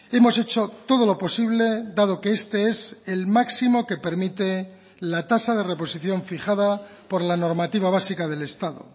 hemos hecho todo lo posible dado que este es el máximo que permite la tasa de reposición fijada por la normativa básica del estado